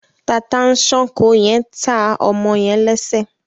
Tata-n-sànko yen tá ọmọ yen lẹsẹ